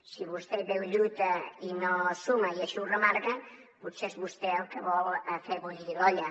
si vostè hi veu lluita i no suma i així ho remarca potser és vostè el que vol fer bullir l’olla